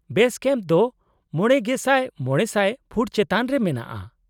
-ᱵᱮᱥ ᱠᱮᱢᱯ ᱫᱚ ᱕,᱕᱐᱐ ᱯᱷᱩᱴ ᱪᱮᱛᱟᱱ ᱨᱮ ᱢᱮᱱᱟᱜᱼᱟ ᱾